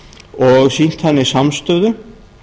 og sýnt þannig samstöðu